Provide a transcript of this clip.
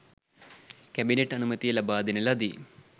cabinet අනුමැතිය ලබා දෙන ලදී